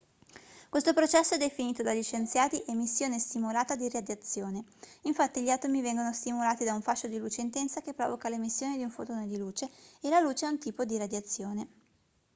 questo processo è definito dagli scienziati emissione stimolata di radiazione infatti gli atomi vengono stimolati da un fascio di luce intensa che provoca l'emissione di un fotone di luce e la luce è un tipo di radiazione